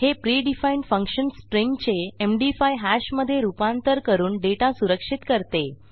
हे predefined function स्ट्रिंगचे MD five hash मधे रूपांतर करून डेटा सुरक्षित करते